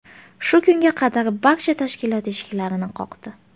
Shu kunga qadar barcha tashkilot eshiklarini qoqdi.